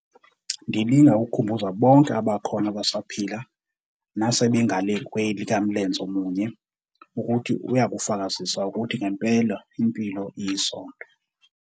ndilinga ukukhumbuza bonke abakhona abasaphila nasebengale kwelikaMlenzemunye ukuthi uyakufakazisa ukuthi ngempela impilo yisondo.